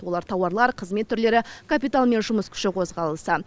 олар тауарлар қызмет түрлері капитал мен жұмыс күші қозғалысы